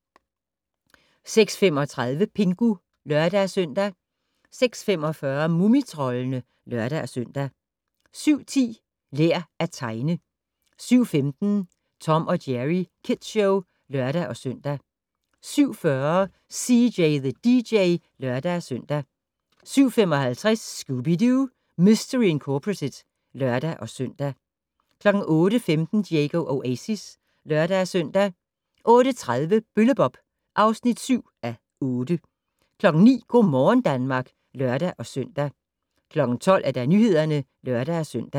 06:35: Pingu (lør-søn) 06:45: Mumitroldene (lør-søn) 07:10: Lær at tegne 07:15: Tom & Jerry Kids Show (lør-søn) 07:40: CJ the DJ (lør-søn) 07:55: Scooby-Doo! Mistery Incorporated (lør-søn) 08:15: Diego Oasis (lør-søn) 08:30: Bølle-Bob (7:8) 09:00: Go' morgen Danmark (lør-søn) 12:00: Nyhederne (lør-søn)